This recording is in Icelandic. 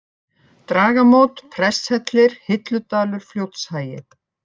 Dragamót, Presthellir, Hilludalur, Fljótshagi